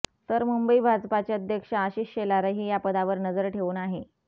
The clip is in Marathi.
तर मुंबई भाजपाचे अध्यक्ष आशिष शेलारही या पदावर नजर ठेवून आहे